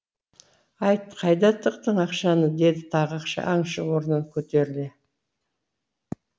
айт қайда тықтың ақшаны деді тағы аңшы орнынан көтеріле